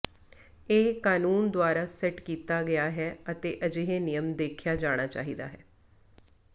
ਇਹ ਕਾਨੂੰਨ ਦੁਆਰਾ ਸੈੱਟ ਕੀਤਾ ਗਿਆ ਹੈ ਅਤੇ ਅਜਿਹੇ ਨਿਯਮ ਦੇਖਿਆ ਜਾਣਾ ਚਾਹੀਦਾ ਹੈ